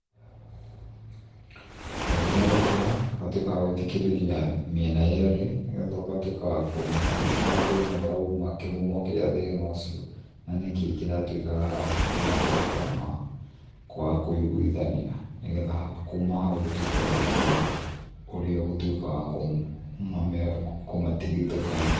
Kaingĩ nĩ gũkira, ũgatuĩka wa gũthikĩrĩria mĩena yerĩ, nĩgetha ũgatuĩka wa kũmenya nĩha thĩna ũrauma, kĩhumo kĩa thĩna ũcio, na nĩkĩ kĩratuĩka, matuĩke a kwaga kũiguithania, nĩ getha kuma hau ũtuĩke wa kũmenya, ũrĩa ũgũtuĩka wa kũmatigithũkania